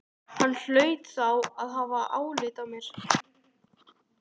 Hann hlaut þá að hafa álit á mér!